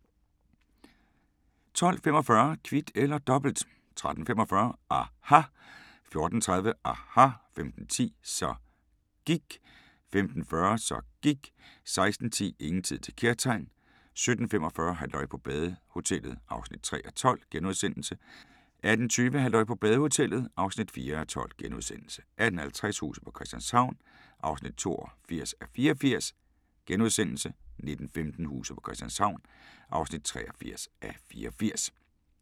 12:45: Kvit eller Dobbelt 13:45: aHA! 14:30: aHA! 15:10: Så gIKK 15:40: Så gIKK 16:10: Ingen tid til kærtegn * 17:45: Halløj på badehotellet (3:12)* 18:20: Halløj på badehotellet (4:12)* 18:50: Huset på Christianshavn (82:84)* 19:15: Huset på Christianshavn (83:84)